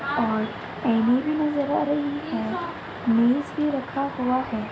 और आईने भी नजर आ रही है। मेज भी रखा हुआ है।